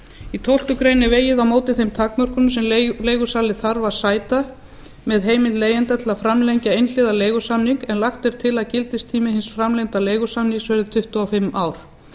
í tólftu grein er vegið á móti þeim takmörkunum sem leigusali þarf að sæta með heimild leigjenda til að framlengja einhliða leigusamning en lagt er til að gildistími hins framlengda leigusamnings verði tuttugu og fimm ár